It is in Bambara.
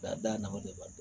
A da nafa de b'a la